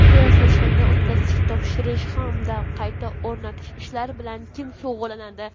qiyoslashdan o‘tkazishga topshirish hamda qayta o‘rnatish ishlari bilan kim shug‘ullanadi?.